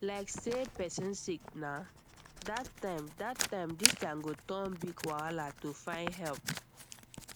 like say person sick na that time that time distance go turn big wahala to find help